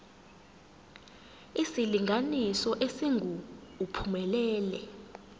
isilinganiso esingu uphumelele